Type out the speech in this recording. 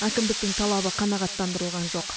әкімдіктің талабы қанағаттандырылған жоқ